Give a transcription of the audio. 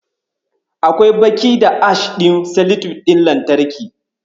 Akwai baƙi da Ash ɗin seletip ɗin lantarki.